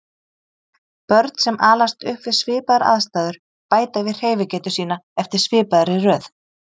Börn sem alast upp við svipaðar aðstæður bæta við hreyfigetu sína eftir svipaðri röð.